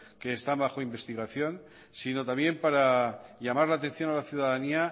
que están bajo investigación sino también para llamar la atención a la ciudadanía